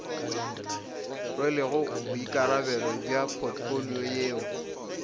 rwelego boikarabelo bja potfolio yeo